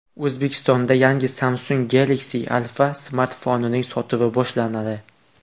O‘zbekistonda yangi Samsung Galaxy Alpha smartfonining sotuvi boshlanadi.